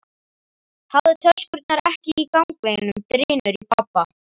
Hafðu töskurnar ekki í gangveginum, drynur í pabba.